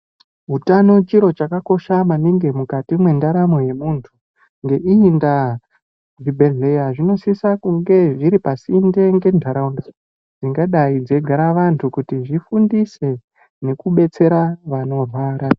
Hutano chiro chakakosha maningi mukati me ndaramo ye muntu nge iyi ndaa zvibhedhleya zvino sisa kunge zviri pasinde nge ndaraunda dzingadai dzei gara vantu kuti zvifundise neku betsera vanorwara.